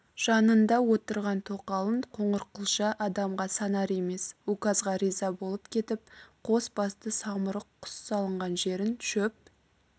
жанында отырған тоқалын қоңырқұлжа адамға санар емес указға риза болып кетіп қос басты самұрық құс салынған жерін шөп